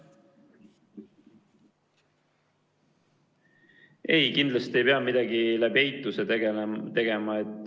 Ei, kindlasti ei pea midagi eituse abil otsustama.